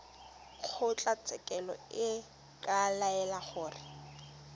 kgotlatshekelo e ka laela gore